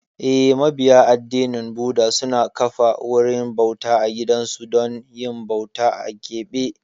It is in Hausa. Eh, mabiya addinin Buda suna kafa wurin bauta a gidansu don yin bauta a keɓe.